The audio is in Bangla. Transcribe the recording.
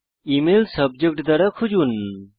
ইমেল সাবজেক্ট দ্বারা খুঁজুন